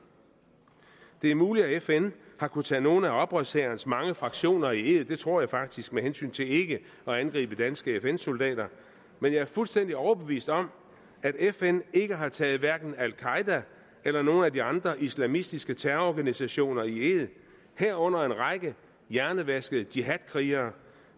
det er muligt at fn har kunnet tage nogle af oprørshærens mange fraktioner i ed det tror jeg faktisk med hensyn til ikke at angribe danske fn soldater men jeg er fuldstændig overbevist om at fn ikke har taget hverken al qaeda eller nogle af de andre islamistiske terrororganisationer i ed herunder en række hjernevaskede jihad krigere